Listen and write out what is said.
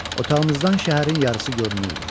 Otağımızdan şəhərin yarısı görünürdü.